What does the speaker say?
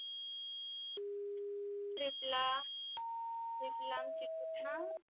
trip ला trip ला छान